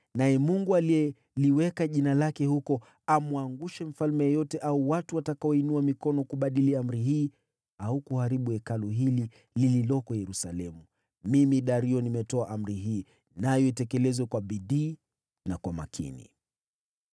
Naye Mungu, aliyeliweka Jina lake huko, amwangushe mfalme yeyote au watu watakaoinua mikono kubadili amri hii au kuharibu Hekalu hili lililoko Yerusalemu. Mimi Dario nimetoa amri hii. Nayo itekelezwe kwa bidii na kwa makini.